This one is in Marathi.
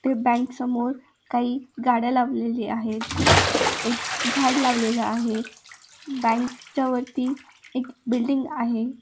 ते बँक समोर काही गाड्या लावलेल्या आहेत. एक झाड लावलेला आहे. बँक च्या वरती एक बिल्डिंग आहे.